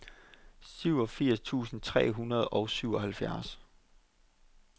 syvogfirs tusind tre hundrede og syvoghalvfjerds